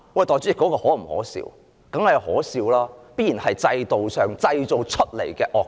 當然可笑，這必然是制度製造出來的惡果。